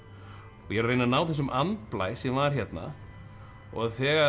og ég er að reyna að ná þessum andblæ sem var hérna og þegar